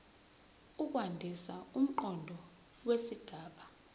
ukwandisa umqondo wesigaba